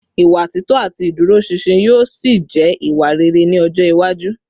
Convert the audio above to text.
Ìwà títọ́ àti ìdúróṣinṣin yóò ṣì jẹ́ ìwà rere ní ọjọ́ iwájú